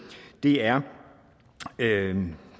er